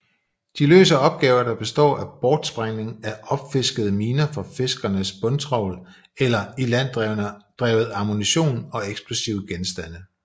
De løser opgaver der består af bortsprængning af opfiskede miner fra fiskernes bundtravl eller ilanddrevet ammunition og eksplosive genstande